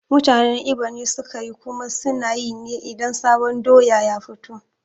Mutanen Igbo ne sukeyi kuma sunayi ne idan sabon doya ya fito